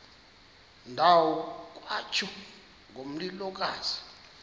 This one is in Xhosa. ndawo kwatsho ngomlilokazi